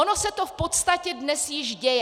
Ono se to v podstatě dnes již děje.